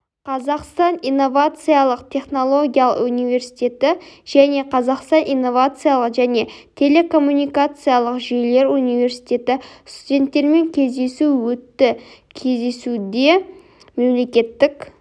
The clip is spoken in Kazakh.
қазақстан инновациялық-технологиялық университеті және қазақстан инновациалық және телекоммуникациялық жүйелер университеті студенттермен кездесу өтті кездесуде мемлекеттік